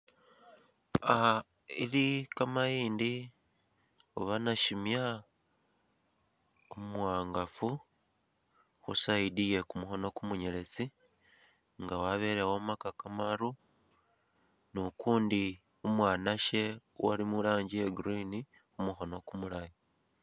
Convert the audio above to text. Ah ili kamayindi oba nashimya umuwangafu khu side ye kumukhono kumunyeletsi nga wabele omaka kamaru ni ukundi umwanashe ali mu colour ya green khu mukhono kumulayi.